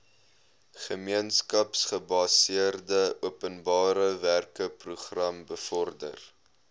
gemeenskapsgebaseerde openbarewerkeprogram bevorder